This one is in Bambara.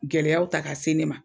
Gɛlɛyaw ta k'a se ne ma